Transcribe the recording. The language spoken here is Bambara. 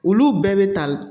Olu bɛɛ bɛ tali